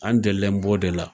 An delilen b'o de la.